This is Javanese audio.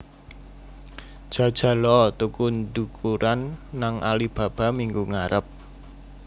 Jajal o tuku ndukuran nang Alibaba minggu ngarep